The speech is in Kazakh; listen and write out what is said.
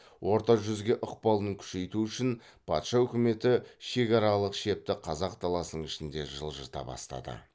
орта жүзге ықпалын күшейту үшін патша өкіметі шекаралық шепті қазақ даласының ішіне жылжыта бастады